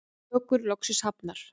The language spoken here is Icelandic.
Tökur loksins hafnar